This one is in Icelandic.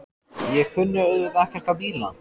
Ég kunni auðvitað ekkert á bíla.